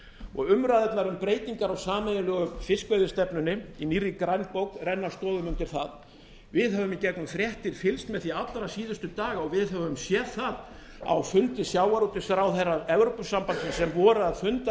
umræðurnar um breytingar á sameiginlegu fiskveiðistefnunni í nýrri grænbók renna stoðum undir það við höfum í gegnum fréttir fylgst með því allra síðustu daga og við höfum séð það á fundi sjávarútvegsráðherra evrópusambandsins sem voru að funda